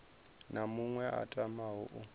na muṅwe a tamaho u